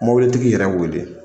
Mobilitigi yɛrɛ wele